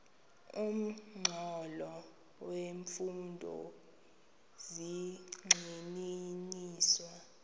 nomxholo wemfundo zigxininiswa